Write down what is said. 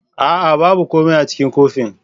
A'a! babu komai a cikin kofin.